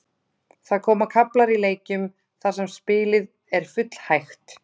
Það koma kaflar í leikjum þar sem spilið er full hægt.